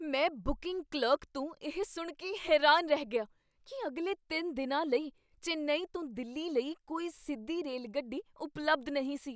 ਮੈਂ booking clerk ਤੋਂ ਇਹ ਸੁਣ ਕੇ ਹੈਰਾਨ ਰਹਿ ਗਿਆ ਕੀ ਅਗਲੇ ਤਿੰਨ ਦਿਨਾਂ ਲਈ ਚੇਨੱਈ ਤੋਂ ਦਿੱਲੀ ਲਈ ਕੋਈ ਸਿੱਧੀ ਰੇਲਗੱਡੀ ਉਪਲਬਧ ਨਹੀਂ ਸੀ।